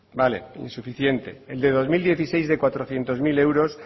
vale insuficiente el de dos mil dieciséis de cuatrocientos mil euros